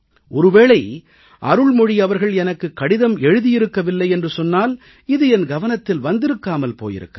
ஒருவேளை அருள்மொழி அவர்கள் எனக்குக் கடிதம் எழுதியிருக்கவில்லை என்று சொன்னால் இது என் கவனத்தில் வந்திருக்காமல் போயிருக்கலாம்